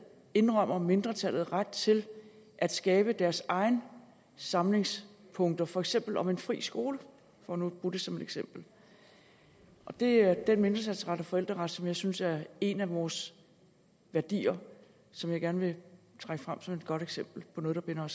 indrømmer mindretallet ret til at skabe deres egne samlingspunkter for eksempel om en fri skole for nu at bruge det som eksempel det er den mindretalsret og forældreret som jeg synes er en af vores værdier og som jeg gerne vil trække frem som et godt eksempel på noget der binder